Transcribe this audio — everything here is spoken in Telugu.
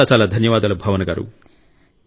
చాలా ధన్యవాదాలు భావన గారూ